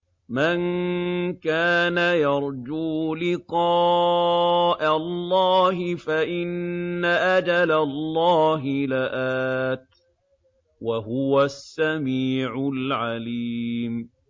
مَن كَانَ يَرْجُو لِقَاءَ اللَّهِ فَإِنَّ أَجَلَ اللَّهِ لَآتٍ ۚ وَهُوَ السَّمِيعُ الْعَلِيمُ